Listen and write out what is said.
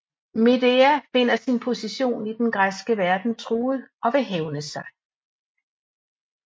Medea finder sin position i den græske verden truet og vil hævne sig